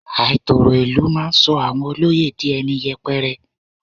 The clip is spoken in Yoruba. Àìtòrò ìlú máa sọ àwọn olóyè di ẹni yẹpẹrẹ.